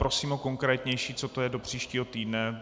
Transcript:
Prosím o konkrétnější, co to je do příštího týdne.